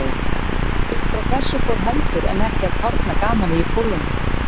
Uppfrá þessu fór heldur en ekki að kárna gamanið í Pólunum.